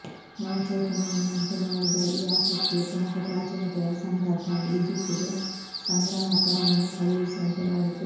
ನವಚೈತನ್ಯವನ್ನುಂಟುಮಾಡಿದ ಈ ಆಸಕ್ತಿಯು ಪ್ರಮುಖ ಪ್ರಾಚೀನತೆಗಳ ಸಂಗ್ರಹಕ್ಕಾಗಿ ಈಜಿಪ್ಟಿಗೆ ಸಂಗ್ರಾಹಕರನ್ನು ಕಳುಹಿಸುವಂತೆ ಮಾಡಿತು